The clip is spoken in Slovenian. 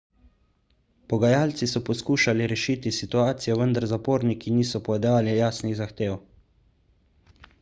pogajalci so poskušali rešiti situacijo vendar zaporniki niso podali jasnih zahtev